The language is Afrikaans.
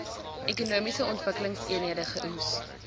ekonomiese ontwikkelingseenhede eoes